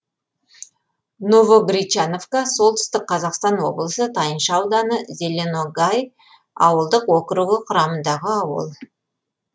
новогречановка солтүстік қазақстан облысы тайынша ауданы зеленогай ауылдық округі құрамындағы ауыл